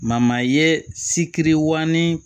ye sikiri wo